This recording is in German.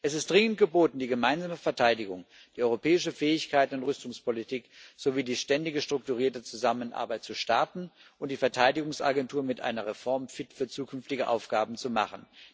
Es ist dringend geboten, die gemeinsame Verteidigung, die europäische Fähigkeit und Rüstungspolitik sowie die ständige strukturierte Zusammenarbeit zu starten und die Verteidigungsagentur mit einer Reform fit für zukünftige Aufgaben zu machen.